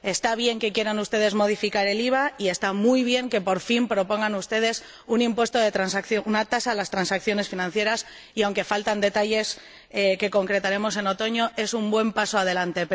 Está bien que quieran ustedes modificar el IVA y está muy bien que, por fin, propongan ustedes una tasa a las transacciones financieras y, aunque faltan detalles que concretaremos en otoño, es un buen paso adelante.